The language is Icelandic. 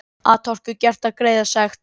Atorku gert að greiða sekt